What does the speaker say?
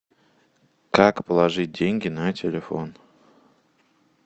как положить деньги на телефон